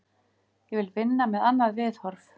Ég vil vinna með annað viðhorf.